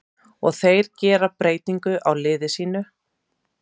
Og þeir gera breytingu á liði sínu.